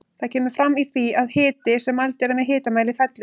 Það kemur fram í því að hiti sem mældur er með hitamæli fellur.